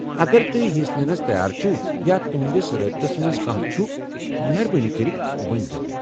اگر توہہِ حصہٕ ننس تیار چھِو یا تہنٛدس رٲبطس منٛز کانٛہہ چُھ، مہربٲنی کٔرتھ ؤنۍزٮ۪و مےٚ۔